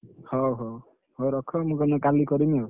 ହଉ ହଉ, ହଉ ରଖ ମୁଁ ତମକୁ କାଲି କରିବି ଆଉ।